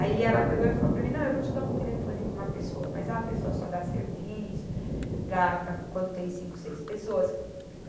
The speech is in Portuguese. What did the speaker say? Aí ela pegou e falou para mim, não, eu vou te dar um telefone de uma pessoa, mas é uma pessoa só dá serviço para, para quando tem cinco, seis pessoas.